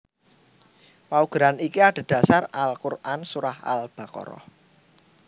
Paugeran iki adhedhasar Al Quran Surah Al Baqarah